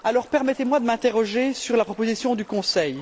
Permettez moi alors de m'interroger sur la proposition du Conseil.